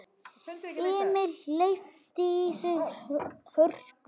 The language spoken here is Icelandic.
Emil hleypti í sig hörku.